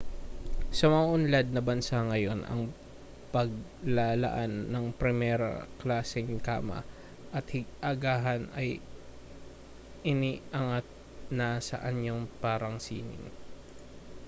sa mauunlad na bansa ngayon ang paglalaan ng primera-klaseng kama at agahan ay iniangat na sa anyong parang sining